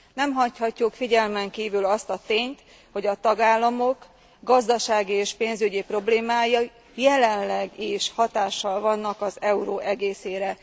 Nem hagyhatjuk figyelmen kívül azt a tényt, hogy a tagállamok gazdasági és pénzügyi problémái jelenleg is hatással vannak az euró egészére.